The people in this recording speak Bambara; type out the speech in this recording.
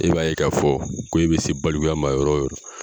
E b'a ye k'a fɔ ko e bɛ se balikuya ma yɔrɔ o yɔrɔ